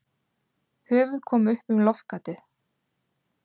Höfuð kom upp um loftgatið.